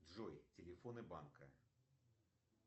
джой телефоны банка